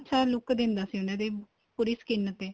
ਅੱਛਾ look ਦਿੰਦਾ ਸੀ ਉਹਨਾ ਤੇ ਪੂਰੀ skin ਤੇ